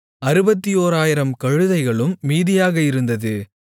61000 கழுதைகளும் மீதியாக இருந்தது